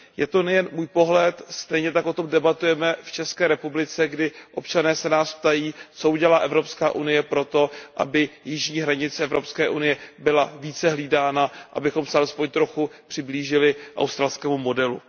Je to nejen můj pohled, stejně tak o tom debatujeme v České republice, kdy se nás občané ptají, co udělá Evropská unie pro to, aby jižní hranice Evropské unie byla více hlídána, abychom se alespoň trochu přiblížili australskému modelu.